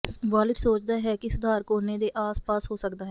wallet ਸੋਚਦਾ ਹੈ ਕਿ ਸੁਧਾਰ ਕੋਨੇ ਦੇ ਆਸ ਪਾਸ ਹੋ ਸਕਦਾ ਹੈ